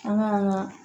An ka